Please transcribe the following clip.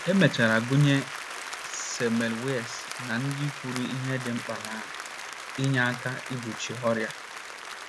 E mechara gụnye Semmelweis ná ndị kwuru ihe dị mkpa na - enye aka igbochi ọrịa.